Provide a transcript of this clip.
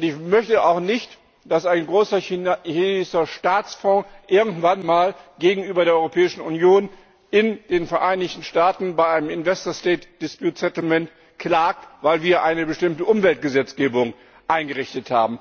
Ich möchte auch nicht, dass ein großer chinesischer Staatsfonds irgendwann einmal gegenüber der Europäischen Union in den Vereinigten Staaten bei einem investor state dispute settlement klagt, weil wir eine bestimmte Umweltgesetzgebung eingerichtet haben.